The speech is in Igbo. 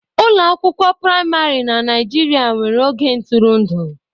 Ụlọ akwụkwọ praịmarị na Nigeria nwere oge ntụrụndụ.